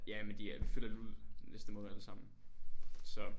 Ja men de er flytter ud næste måned alle sammen så